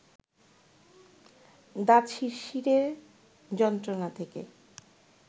দাঁত শিরশিরের যন্ত্রণা থেকে